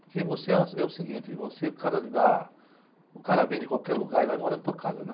Porque você é o se, é o seguinte, você... o cara lhe dá... o cara vem de qualquer lugar e vai morar na tua casa, né?